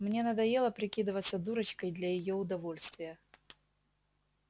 мне надоело прикидываться дурочкой для её удовольствия